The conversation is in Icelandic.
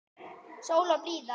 Sól og blíða.